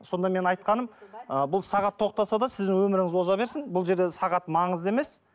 сонда мен айтқаным ы бұл сағат тоқтаса да сіз өміріңіз оза берсін бұл жерде сағат маңызды емес